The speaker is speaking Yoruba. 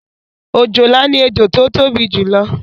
òjòlá ni ẹjọ tí ó tóbi jù lọ